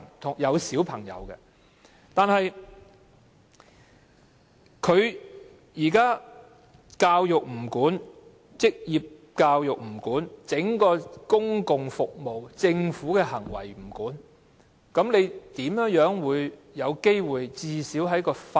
在現行的反歧視條例下，教育、職業教育、公共服務及政府行為全不受規管，試問哪有機會改善。